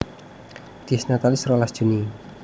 Dies Natalis rolas Juni